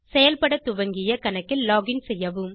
செயல்படத் துவங்கிய கணக்கில் லோகின் செய்யவும்